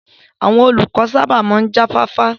Àwọn olùkọ́ sábà máa ń jáfáfá